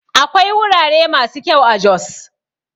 Akwai wurare masu kyau a Jos